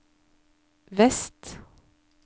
vest